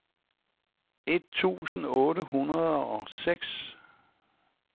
et tusind otte hundrede og seks